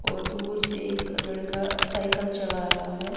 और दूर से एक लड़का साइकिल चला रहा है।